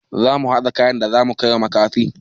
Zamu haɗa kayan da zamu kaiwa makafi.